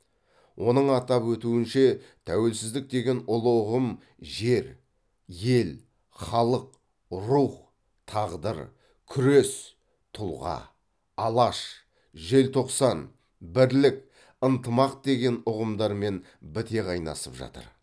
оның атап өтуінше тәуелсіздік деген ұлы ұғым жер ел халық рух тағдыр күрес тұлға алаш желтоқсан бірлік ынтымақ деген ұғымдармен біте қайнасып жатыр